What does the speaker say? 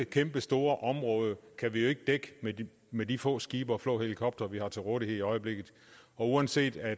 kæmpestore område kan vi jo ikke dække med de få skibe og få helikoptere vi har til rådighed i øjeblikket og uanset at